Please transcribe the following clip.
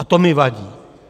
A to mi vadí!